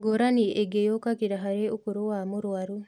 Ngũrani ĩngĩ yũkagira harĩ ũkũrũ wa mũrũaru